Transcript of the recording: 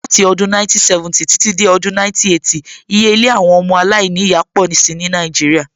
Láti odún 1970 títí dé Odùn 1980, iye ilé àwọn ọmọ alainiya pọ̀ si ní Nàìjíríà